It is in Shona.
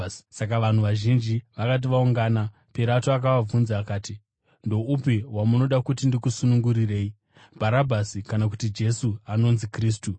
Saka vanhu vazhinji vakati vaungana, Pirato akavabvunza akati, “Ndoupi wamunoda kuti ndikusunungurirei: Bharabhasi kana kuti Jesu anonzi Kristu?”